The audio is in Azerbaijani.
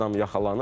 Adam yaxalanıb.